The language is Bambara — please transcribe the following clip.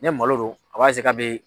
Ne malo don a b'a eseye k'a be